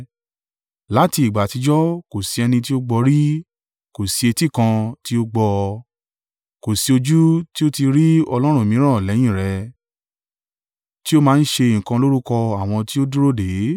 Láti ìgbà àtijọ́ kò sí ẹni tí ó gbọ́ rí kò sí etí kan tí ó gbọ́ ọ, kò sí ojú tí ó tí ì rí Ọlọ́run mìíràn lẹ́yìn rẹ, tí ó máa ń ṣe nǹkan lórúkọ àwọn tí ó dúró dè é.